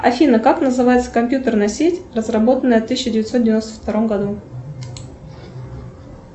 афина как называется компьютерная сеть разработанная в тысяча девятьсот девяносто втором году